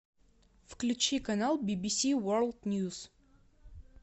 включи канал бибиси ворлд ньюс